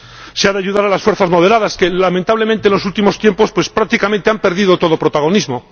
Se ha de ayudar a las fuerzas moderadas que, lamentablemente, en los últimos tiempos prácticamente han perdido todo protagonismo.